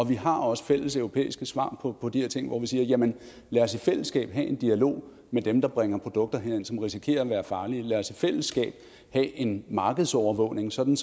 vi har også fælleseuropæiske svar på på de her ting hvor vi siger lad os i fællesskab have en dialog med dem der bringer produkter herind som risikerer at være farlige lad os i fællesskab have en markedsovervågning sådan